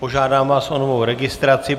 Požádám vás o novou registraci.